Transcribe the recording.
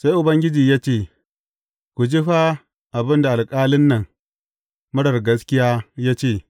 Sai Ubangiji ya ce, Ku ji fa abin da alƙalin nan, marar gaskiya, ya ce.